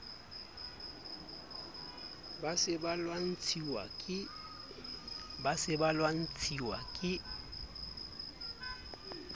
ba se ba lwantshwa ke